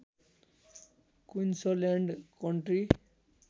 Queensland country